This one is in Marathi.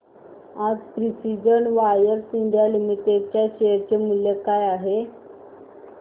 आज प्रिसीजन वायर्स इंडिया लिमिटेड च्या शेअर चे मूल्य काय आहे